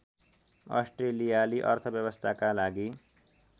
अस्ट्रेलियाली अर्थव्यवस्थाका लागि